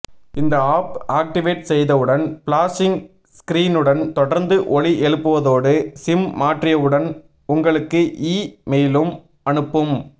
இந்த app activate செய்தவுடன் flashing ஸ்கிரீனுடன் தொடர்ந்து ஒலி எழுப்பபுவதோடு சிம் மாற்றியவுடன் உங்களுக்கு ஈ மெயிலும் அனுப்பும்